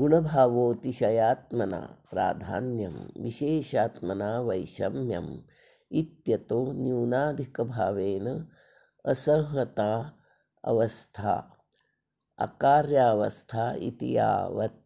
गुणभावोऽतिशयात्मना प्राधान्यं विशेषात्मना वैषम्यमित्यतो न्यूनाधिकभावेनासंहतावस्थाऽकार्यावस्थेति यावत्